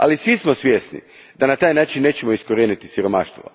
Ali svi smo svjesni da na taj način nećemo iskorijeniti siromaštvo.